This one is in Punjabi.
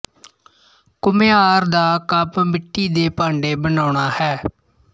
ਘੁਮਿਆਰ ਦਾ ਕੰਮ ਮਿੱਟੀ ਦੇ ਭਾਂਡੇ ਬਣਾਉਣਾ ਹੈ